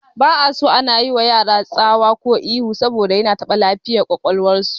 Ba'aso ana yiwa yara tsawa ko ihu saboda yana taɓa lafiyar ƙwaƙwalwar su